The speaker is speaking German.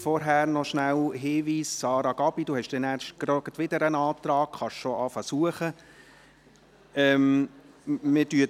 Vorgängig rasch ein Hinweis: Sarah Gabi, Sie haben nachher wieder einen Antrag, Sie können bereits mit Suchen beginnen.